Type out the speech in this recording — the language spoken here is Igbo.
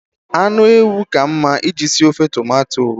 Anụ ewu ka mma I ji si ofe tomato.